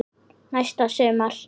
Næsta sumar?